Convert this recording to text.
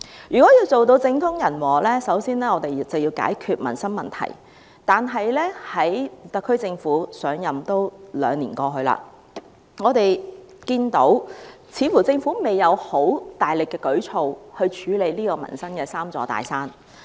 若要做到政通人和，我們首先要解決民生問題，但現屆特區政府上任已經兩年，我們看見政府似乎未有很大力的舉措去處理民生的"三座大山"。